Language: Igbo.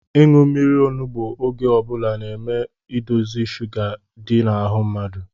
Ịṅụ mmiri onugbu oge ọbula na-eme edozi sụga di n’ahụ mmadụ